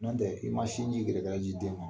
N'o tɛ n'i ma sin ji yɛrɛɛrɛra di den ma